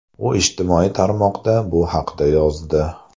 U ijtimoiy tarmoqda bu haqda yozdi.